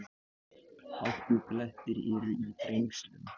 Hálkublettir eru í Þrengslum